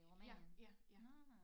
Ja ja ja